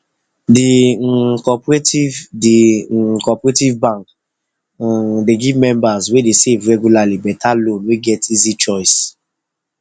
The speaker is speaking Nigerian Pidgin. d um cooperative d um cooperative bank um dey give members wey dey save regularly better loan wey get easy choice